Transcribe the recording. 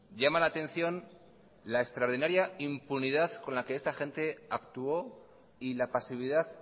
llama la atención la extraordinaria impunidad con la que esta gente actuó y la pasividad